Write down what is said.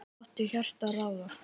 Láttu hjartað ráða.